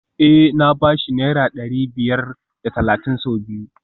Eh na ba shi naira dari biyar da talatin sau biyu